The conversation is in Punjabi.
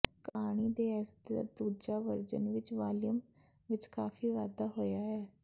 ਕਹਾਣੀ ਦੇ ਇਸ ਦੇ ਦੂਜਾ ਵਰਜਨ ਵਿੱਚ ਵਾਲੀਅਮ ਵਿੱਚ ਕਾਫ਼ੀ ਵਾਧਾ ਹੋਇਆ ਹੈ